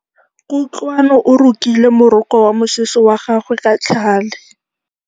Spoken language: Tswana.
Kutlwanô o rokile morokô wa mosese wa gagwe ka tlhale.